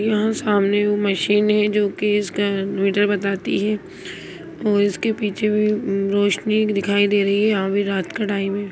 यहां सामने वो मशीन है जो कि इसका मीटर बताती है और इसके पीछे भी रोशनी दिखाई दे रही है अभी रात का टाइम है।